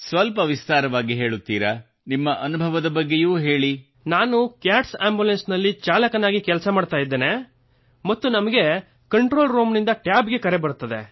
ಸ್ವಲ್ಪ ವಿಸ್ತಾರವಾಗಿ ಹೇಳುತ್ತೀರಾ ನಿಮ್ಮ ಅನುಭವದ ಬಗ್ಗೆಯೂ ಹೇಳಿ ಪ್ರೇಮ್ ನಾನು ಕ್ಯಾಟ್ಸ್ ಆಂಬುಲೆನ್ಸ್ ನಲ್ಲಿ ಚಾಲಕನಾಗಿ ಕೆಲಸ ಮಾಡುತ್ತಿದ್ದೇನೆ ಮತ್ತು ನಮಗೆ ಕಂಟ್ರೋಲ್ ರೂಮಿನಿಂದ ಟ್ಯಾಬ್ ಗೆ ಕರೆ ಬರುತ್ತದೆ